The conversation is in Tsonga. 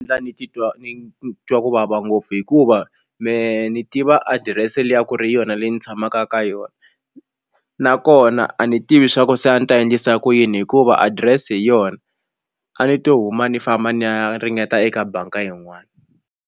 ni titwa ni twa ku vava ngopfu hikuva me ni tiva adirese liya ku ri yona leyi ndzi tshamaka ka yona nakona a ni tivi swa ku se a ni ta endlisa ku yini hikuva adirese hi yona a ni to huma ni famba ni ya ringeta eka bangi yin'wani.